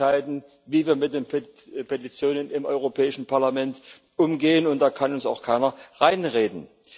Wir entscheiden, wie wir mit den Petitionen im Europäischen Parlament umgehen, und da kann uns auch keiner reinreden.